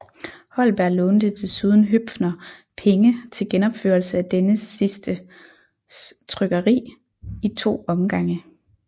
Holberg lånte desuden Høpfner penge til genopførelse af denne sidstes trykkeri i to omgange